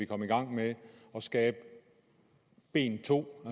komme i gang med at skabe ben 2